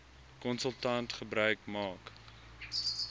konsultant gebruik maak